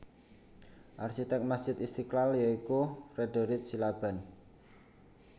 Arsitek Masjid Istiqlal ya iku Frederich Silaban